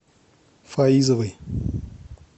фаизовой